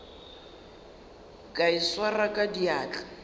ka e swara ka diatla